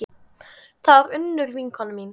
Þetta var Unnur vinkona mín.